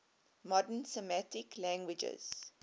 modern semitic languages